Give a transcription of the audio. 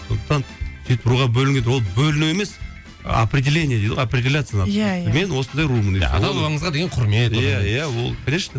сондықтан сөйтіп руға бөлінеді ол бөліну емес определение дейді ғой определяться надо иә иә мен осындай румын иә иә ол конечно